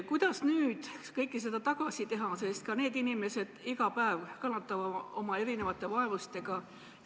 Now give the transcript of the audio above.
Kuidas nüüd kõike seda tagasi teha, sest ka need inimesed iga päev kannatavad oma erinevate vaevuste käes?